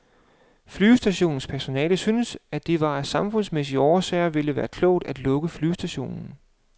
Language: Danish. Flyvestationens personale synes, at det af samfundsmæssige årsager vil være uklogt at lukke flyvestationen.